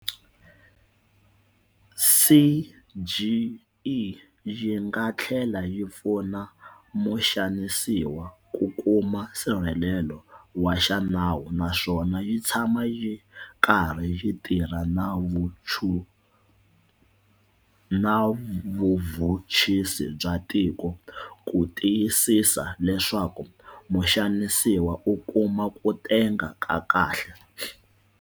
CGE yi nga tlhela yi pfuna muxanisiwa ku kuma nsirhelelo wa xinawu naswona yi tshama yi karhi yi tirha na vuvhuchisi bya tiko ku tiyisisa leswaku muxanisiwa u kuma ku tenga ka kahle.